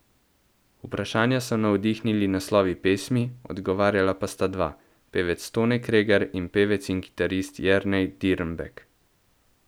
Vprašanja so navdihnili naslovi pesmi, odgovarjala pa sta dva, pevec Tone Kregar in pevec in kitarist Jernej Dirnbek.